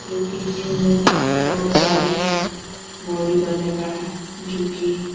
जो की जिम मे बहुत सारे बॉडी करने का है जो की --